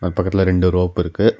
பக்கத்துல ரெண்டு ரோப் இருக்கு.